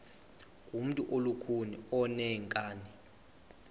ngumntu olukhuni oneenkani